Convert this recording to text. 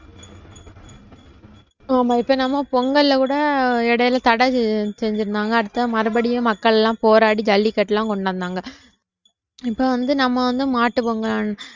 ஆமா இப்ப நம்ம பொங்கல்ல கூட இடையில தடை செஞ்சிருந்தாங்க அடுத்து மறுபடியும் மக்கள் எல்லாம் போராடி ஜல்லிக்கட்டு எல்லாம் கொண்டு வந்தாங்க இப்ப வந்து நம்ம வந்து மாட்டு பொங்கல்